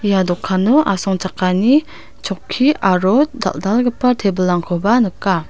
ia dokano asongchakani chokki aro dal·dalgipa tebilangkoba nika.